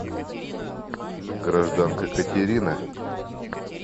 гражданка катерина